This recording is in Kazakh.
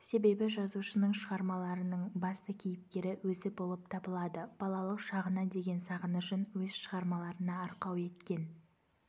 себебі жазушының шығармаларының басты кейіпкері өзі болып табылады балалық шағына деген сағынышын өз шығармаларына арқау еткен